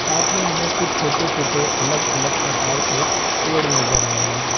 साथ में हमें कुछ छोटे-छोटे अलग-अलग प्रकार के पेड़ नजर आ रहे हैं।